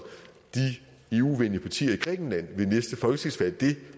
de eu venlige partier i grækenland det